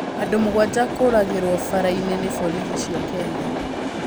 Andũ Mũgwanja Kũragĩrwo Mbaara-inĩ ni Borithi cia Kenya.